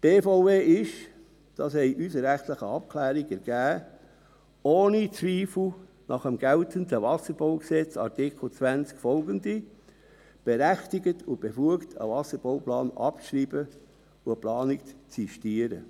Die BVE ist – das haben unsere rechtlichen Abklärungen ergeben – nach dem geltenden Wasserbaugesetz (WBG), Artikel 20 und folgende, ohne Zweifel berechtigt und befugt, einen Wasserbauplan abzuschreiben und eine Planung zu sistieren.